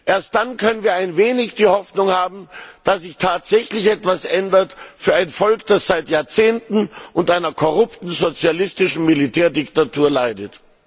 Erst dann können wir ein wenig die Hoffnung haben, dass sie tatsächlich etwas ändert für ein Volk, das seit Jahrzehnten unter einer korrupten sozialistischen Militärdiktatur leidet.